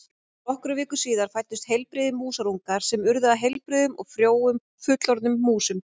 Nokkrum vikum síðar fæddust heilbrigðir músarungar sem urðu að heilbrigðum og frjóum fullorðnum músum.